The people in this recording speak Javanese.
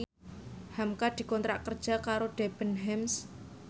hamka dikontrak kerja karo Debenhams